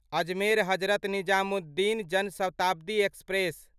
Ajmer Hazrat Nizamuddin Jan Shatabdi express